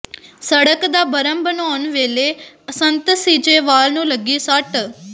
ਸੜਕ ਦਾ ਬਰਮ ਬਣਾਉਣ ਵੇਲੇ ਸੰਤ ਸੀਚੇਵਾਲ ਨੂੰ ਲੱਗੀ ਸੱਟ